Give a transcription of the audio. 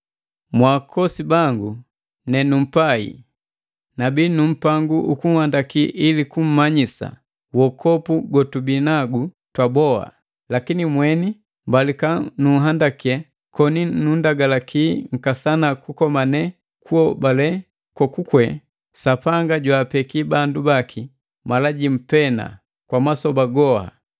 Mwaakosi bangu nenumpai, nabi nu mpangu ukunhandakii ili kummanyisa wokopu gotubinagu twaboha, lakini mweni mbalika kunhandaki koni nunndagalaki nkasana kukomane kuhobale kokukwe Sapanga jwaapeki bandu baki mala jimu pena kwa masoba goha.